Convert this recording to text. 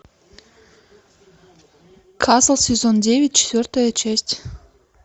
касл сезон девять четвертая часть